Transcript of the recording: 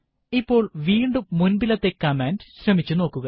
ഇപ്പോൾ വീണ്ടും മുൻപിലത്തെ കമാൻഡ് ശ്രമിച്ചു നോക്കുക